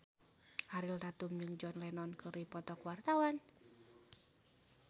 Ariel Tatum jeung John Lennon keur dipoto ku wartawan